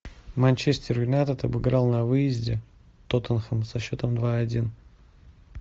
манчестер юнайтед обыграл на выезде тоттенхэм со счетом два один